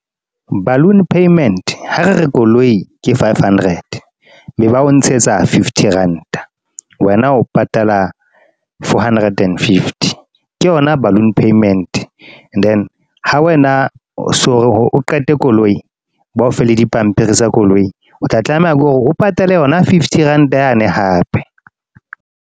Balloon payment, ha re re koloi ke five hundred. Be ba o ntshetsa fifty rand-a. Wena o patala, four hundred and fifty. Ke yona balloon payment. Then ha wena, so hore o qete koloi. Ba o fe le dipampiri tsa koloi, o tla tlameha ke hore o patale yona fifty rand-a yane hape.